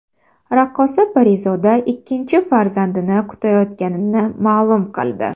Raqqosa Parizoda ikkinchi farzandini kutayotganini ma’lum qildi.